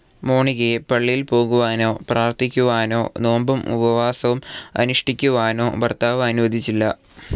മോണിക്കയെ പള്ളിയിൽ പോകുവാനോ പ്രാർത്ഥിക്കുവാനോ നോമ്പും ഉപവാസവും അനുഷ്ഠിക്കുവാനോ ഭർത്താവ് അനുവദിച്ചില്ല.